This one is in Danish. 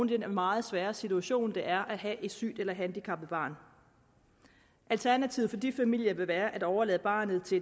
den meget svære situation det er at have et sygt eller handicappet barn alternativet for de familier vil være at overlade barnet til